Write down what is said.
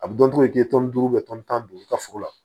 A bɛ dɔn k'i ye duuru tan ni duuru i ka foro la